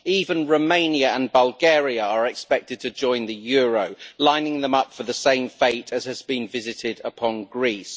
Even Romania and Bulgaria are expected to join the euro, lining them up for the same fate as has been visited upon Greece.